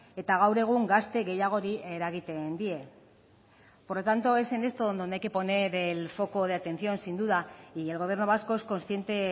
eta gaur egun gazte gehiagori eragiten die por lo tanto es en esto donde hay que poner el foco de atención sin duda y el gobierno vasco es consciente